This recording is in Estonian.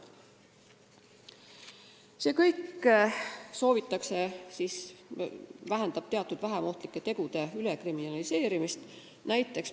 Muudatuse eesmärk on vähendada teatud vähem ohtlike tegude ülekriminaliseerimist.